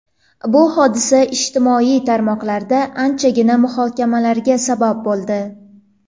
Bu hodisa ijtimoiy tarmoqlarda anchagina muhokamalarga sabab bo‘ldi.